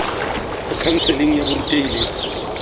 ho khanseling ya borutehi le